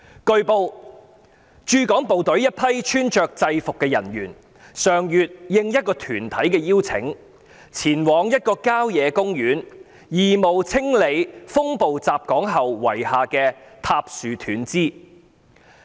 據報，駐港部隊一批穿着制服的人員上月應一個團體的邀請，前往一個郊野公園義務清理風暴襲港後遺下的塌樹斷枝。